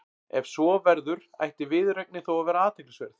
Ef svo verður ætti viðureignin þó að vera athyglisverð.